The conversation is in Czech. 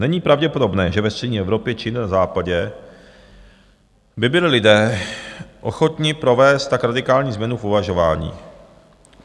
Není pravděpodobné, že ve střední Evropě či na Západě by byli lidé ochotni provést tak radikální změnu v uvažování.